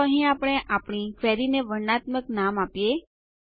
ચાલો અહીં આપણે આપણી ક્વેરીને વર્ણનાત્મક નામ આપીએ